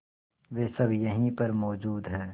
वे सब यहीं पर मौजूद है